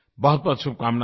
बहुतबहुत शुभकामनायें